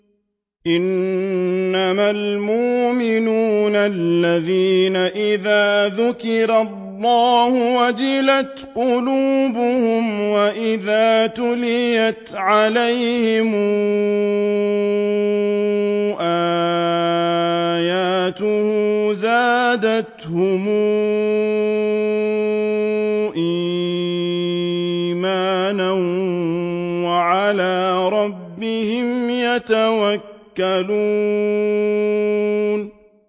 إِنَّمَا الْمُؤْمِنُونَ الَّذِينَ إِذَا ذُكِرَ اللَّهُ وَجِلَتْ قُلُوبُهُمْ وَإِذَا تُلِيَتْ عَلَيْهِمْ آيَاتُهُ زَادَتْهُمْ إِيمَانًا وَعَلَىٰ رَبِّهِمْ يَتَوَكَّلُونَ